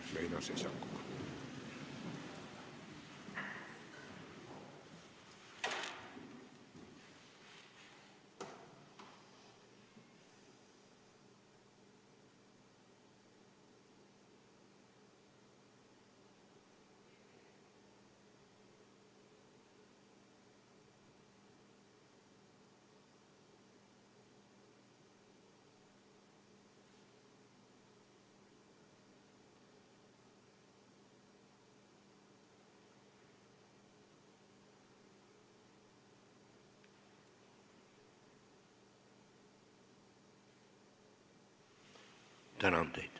Tänan teid!